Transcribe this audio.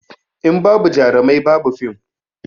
In babu jarumai ba bu fim